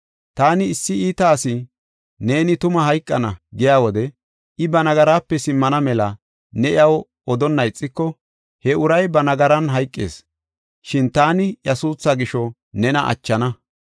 Taani issi iita asi, ‘Neeni tuma hayqana’ giya wode, I ba nagaraape simmana mela ne iyaw odonna ixiko, he uray ba nagaran hayqees; shin taani iya suuthaa gisho nena achana.